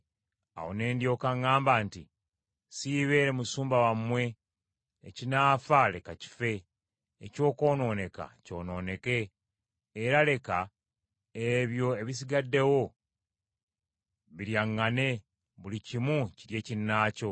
Awo ne ndyoka ŋŋamba nti, “Siibeere musumba wammwe, ekinaafa leka kife, ekyokwonooneka kyonooneke, era leka ebyo ebisigaddewo biryaŋŋane, buli kimu kirye kinnaakyo.”